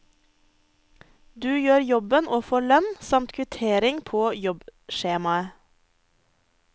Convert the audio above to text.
Du gjør jobben og får lønn, samt kvittering på jobbskjemaet.